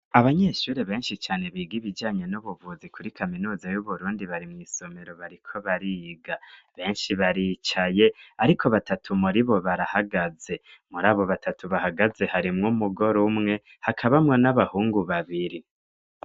Abanyeshuri benshi cane biga ibijanye n'ubuvuzi kuri kaminuza y'uburundi bari mu isomero bariko bariga. Benshi baricaye, ariko batatu muri bo barahagaze. Muri abo batatu bahagaze harimwo umugore umwe hakabamwo n'abahungu babiri.